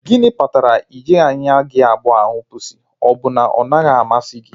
Gịnị kpatara na ị jighị anya gị abụọ ahụ pusi? Ọ bụ na ọ naghị amasị gị?